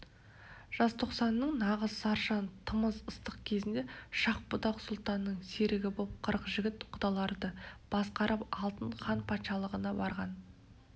жазтоқсанның нағыз сарша тамыз ыстық кезінде шах-будақ сұлтанның серігі боп қырық жігіт құдаларды басқарып алтын хан патшалығына барған